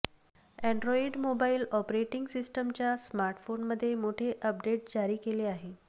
Android mobile operating सिस्टमच्या स्मार्टफोनमध्ये मोठे अपडेट जारी केले आहे